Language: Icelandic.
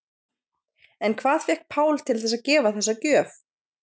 En hvað fékk Pál til þess að gefa þessa gjöf?